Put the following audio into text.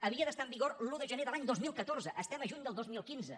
havia d’estar en vigor l’un de gener de l’any dos mil catorze estem a juny del dos mil quinze